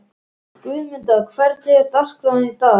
Guðmunda, hvernig er dagskráin í dag?